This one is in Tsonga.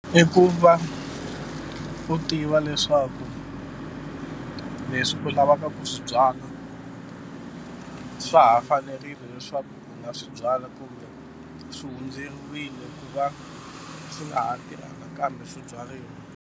I ku va u tiva leswaku leswi u lavaka ku swi byala swa ha fanerile leswaku u nga swi byala kumbe swi hundzeriwile ku va swi nga ha tirha nakambe leswaku swi byariwa.